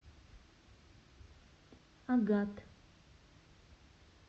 агат